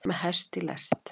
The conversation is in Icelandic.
Með hest í lest